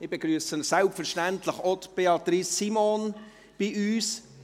Ich begrüsse selbstverständlich auch Beatrice Simon bei uns.